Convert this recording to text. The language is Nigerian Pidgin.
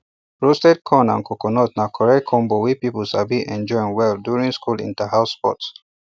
roasted corn and coconut na correct combo wey people sabi enjoy well well during school interhouse sports